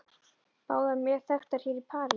Báðar mjög þekktar hér í París.